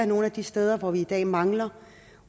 nogle af de steder hvor vi i dag mangler